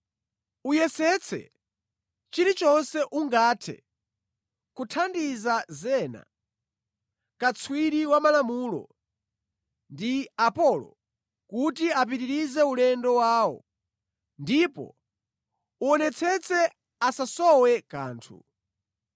Uyesetse chilichonse ungathe kuthandiza Zena katswiri wa malamulo ndi Apolo, kuti apitirize ulendo wawo, ndipo uwonetsetse asasowe kanthu.